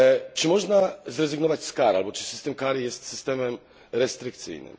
Czy można zrezygnować z kar albo czy system kar jest systemem restrykcyjnym?